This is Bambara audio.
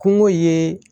Kungo ye